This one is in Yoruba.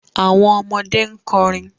Awọn ọmọde n kọrin